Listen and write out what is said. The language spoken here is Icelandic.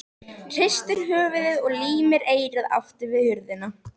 Hristir höfuðið og límir eyrað aftur við hurðina.